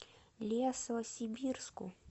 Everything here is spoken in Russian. лесосибирску